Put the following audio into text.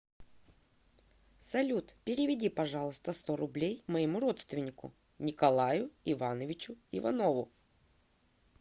салют переведи пожалуйста сто рублей моему родственнику николаю ивановичу иванову